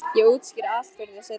Ég útskýri allt fyrir þér seinna.